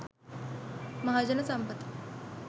mahajana sampatha